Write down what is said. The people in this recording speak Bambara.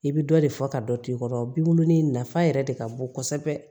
I bɛ dɔ de fɔ ka dɔ to yen i kɔrɔ binw ni nafa yɛrɛ de ka bon kosɛbɛ